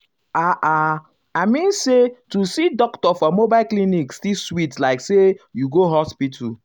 ah ah i mean say to see doctor for mobile clinic still sweet like say you go hospital.